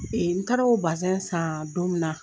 N taar'o san don min na